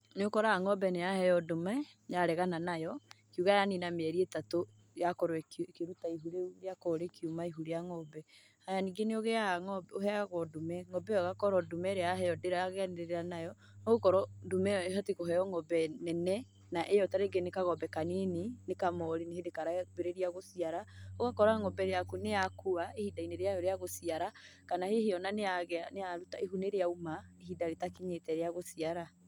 Nĩ ũkoraga ng'ombe nĩ yaheo ndume yaregana nayo, ukiũga ya nina mieri ĩtatũ yakorwo ĩkĩruta ihu rĩu rĩakorwo rĩkiuma ihu rĩa ng'ombe. Haya ningĩ nĩ ũheagwo ndume ng'ombe ĩyo ĩgakorwo ndume irĩa yaheo ndĩraganirĩra nayo, nĩ gũkorwo ndume ĩyo ĩbatiĩ kũheo ng'ombe nene, na ĩyo tarĩngi nĩ kagombe ka nini, nĩ kamori nĩ hĩndĩ karambĩrĩria gũciara. Ũgakora ng'ombe yaku nĩ ya kua ihinda-inĩ rĩayo rĩa gũciara, kana hihi ona niya, ihu nĩ rĩauma ihinda rĩtakinyĩte rĩa gũciara.